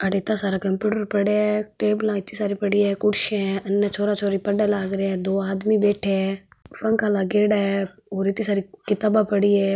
अठ इत्ता सारा कम्प्यूटर पड़ा है टेबला इत्ते सारे पड़ी है कुर्सीया है इन छोरा छोरी पढ़ लाग रा है दो आदमी बैठे है पंखा लागेड़ा है और इत्ते सारी किताबा पड़ी है।